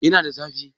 Yana da zafi?